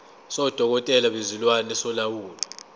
sodokotela bezilwane solawulo